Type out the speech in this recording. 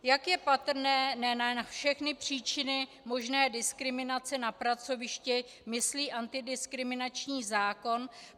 Jak je patrné, ne na všechny příčiny možné diskriminace na pracovišti myslí antidiskriminační zákon.